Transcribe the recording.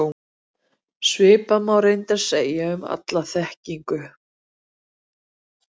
Svipað má reyndar segja um alla þekkingu.